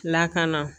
Lakana